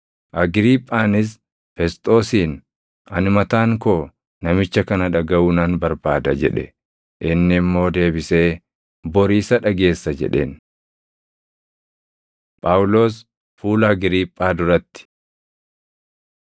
Agriiphaanis Fesxoosiin, “Ani mataan koo namicha kana dhagaʼuu nan barbaada” jedhe. Inni immoo deebisee, “Bori isa dhageessa” jedheen. Phaawulos Fuula Agriiphaa Duratti 26:12‑18 kwf – Hoj 9:3‑8; 22:6‑11